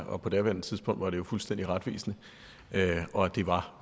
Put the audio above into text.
og på daværende tidspunkt var det jo fuldstændig retvisende og det var